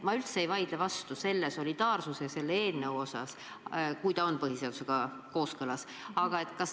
Ma üldse ei vaidle vastu solidaarsuse põhimõttele ja sellele eeelnõule, kui see on põhiseadusega kooskõlas.